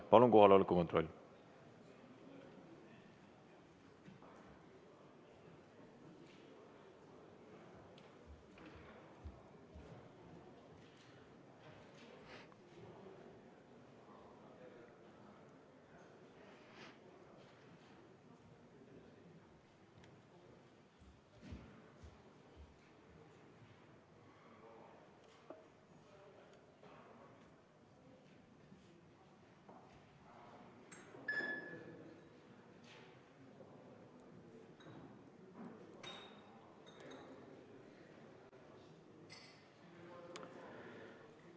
Palun kohaloleku kontroll!